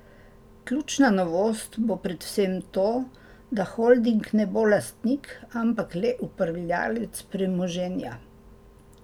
Ključna novost bo predvsem to, da holding ne bo lastnik, ampak le upravljavec premoženja.